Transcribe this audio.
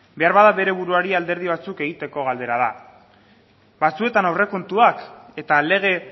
behar bada bere buruari alderdi batzuk egiteko galdera da batzuetan aurrekontuak eta lege